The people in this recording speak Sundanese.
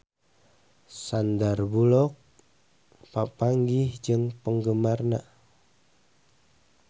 Sandar Bullock papanggih jeung penggemarna